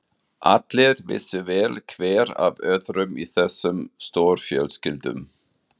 Allir vissu vel hver af öðrum í þessum stórfjölskyldum.